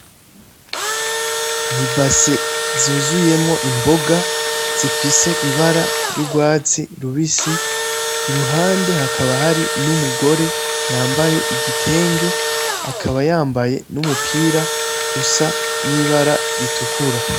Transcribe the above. N'ibase yuzuyemwo imboga zifise ibara ryurwatsi rubisi, iruhande hakaba hari n'umugore yambaye igitenge, akaba yambaye n'umupira usa nibara ritukura.